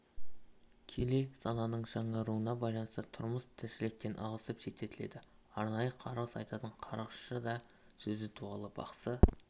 келе сананың жаңаруына байланысты тұрмыс-тіршіліктен ығысып шеттетіледі арнайы қарғыс айтатын қарғысшы да сөзі дуалы бақсы